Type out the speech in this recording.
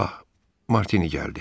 Ah, Martini gəldi.